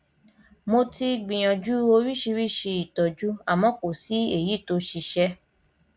mo ti gbìyànjú oríṣiríṣi ìtọjú àmọ kò sí èyí tó ṣiṣẹ